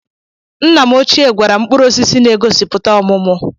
Nna m ochie gwara m mkpụrụosisi na-egosipụta ọmụmụ